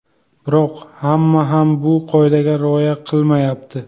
Biroq hamma ham bu qoidaga rioya qilmayapti.